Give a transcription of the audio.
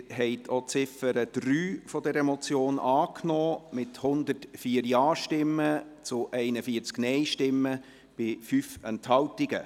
Sie haben auch Ziffer 3 dieser Motion angenommen mit 104 Ja- zu 41 Nein-Stimmen bei 5 Enthaltungen.